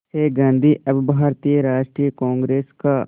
से गांधी अब भारतीय राष्ट्रीय कांग्रेस का